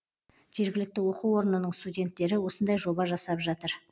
жергілікті оқу орнының студенттері осындай жоба жасап жатыр